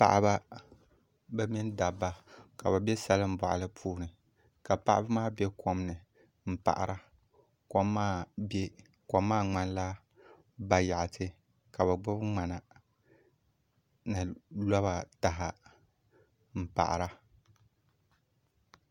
Paɣaba bi mini dabba ka bi bɛ salin boɣali puuni ka paɣaba maa bɛ kom ni n paɣara kom kom maa ŋmanila bayaɣati ka bi gbuni ŋmana ni loba taha n paɣara